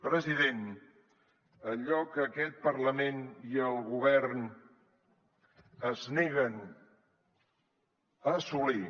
president allò que aquest parlament i el govern es neguen a assolir